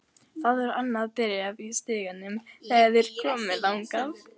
Það var annað bréf í stiganum þegar þeir komu þangað.